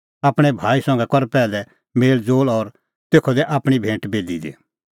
आपणैं भाई संघै कर पैहलै मेल़ज़ोल़ और तेखअ दै आपणीं भैंट बेदी दी